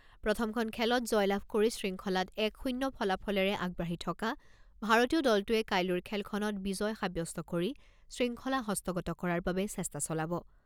প্ৰথমখন খেলত জয়লাভ কৰি শৃংখলাত এক শূণ্য ফলাফলেৰে আগবাঢ়ি থকা ভাৰতীয় দলটোৱে কাইলৈৰ খেলখনত বিজয় সাব্যস্ত কৰি শৃংখলা হস্তগত কৰাৰ বাবে চেষ্টা চলাব।